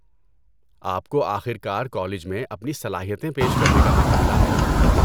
آپ کو آخر کار کالج میں اپنی صلاحیتیں پیش کرنے کا موقع ملا ہے۔